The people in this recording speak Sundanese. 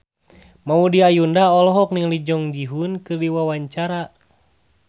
Maudy Ayunda olohok ningali Jung Ji Hoon keur diwawancara